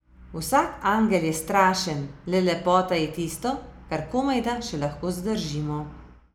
Vsak angel je strašen, le lepota je tisto, kar komajda še lahko zdržimo.